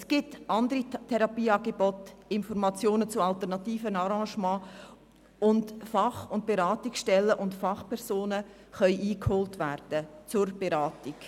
Es gibt andere Therapieangebote und alternative Arrangements sowie Fach- und Beratungsstellen und Fachpersonen, die konsultiert werden können.